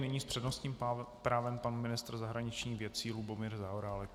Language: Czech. Nyní s přednostním právem pan ministr zahraničních věcí Lubomír Zaorálek.